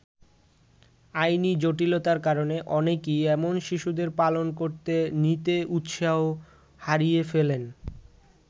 আইনি জটিলতার কারণে অনেকেই এমন শিশুদের পালন করতে নিতে উৎসাহ হারিয়ে ফেলেন।